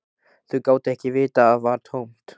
Þau gátu ekki vitað að það var tómt.